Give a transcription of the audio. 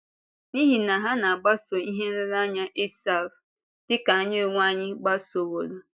N’ihi na ha na-agbaso ihe nlereanya Esáf, dị ka anyị onwe anyị gbasoworò.